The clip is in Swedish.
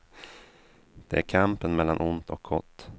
Det är kampen mellan ont och gott.